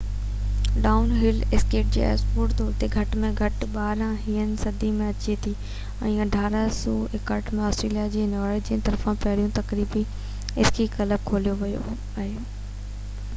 down ھل skiing هڪ sport طور تي گھٽ ۾ گھٽ 17 هين صدي ۾ اچي ٿي ۽ 1861 ۾ آسٽريليا ۾ نارويجين طرفان پهريون تفريحي اسڪي ڪلب کوليو ويو هو